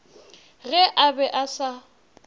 ge a be a sa